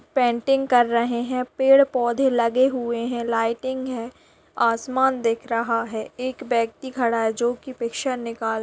painting कर रहे है पेड़-पौधे लगे हुए है लाइटिंग है और आसमान दिख रहा है एक व्यक्ति खड़ा है जो कीपिक्चर निकाल----